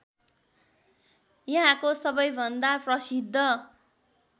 यहाँको सबैभन्दा प्रसिद्ध